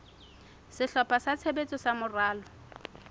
sehlopha sa tshebetso sa moralo